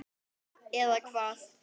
Eða hvað.?